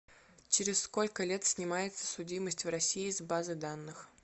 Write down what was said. через сколько лет снимается судимость в россии с базы данных